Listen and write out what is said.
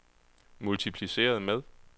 multipliceret med